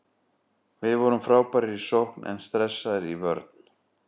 Við vorum frábærir í sókn en stressaðir í vörn.